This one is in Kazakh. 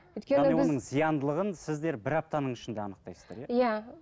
өйткені біз яғни оның зияндылығын сіздер бір аптаның ішінде анықтайсыздар иә иә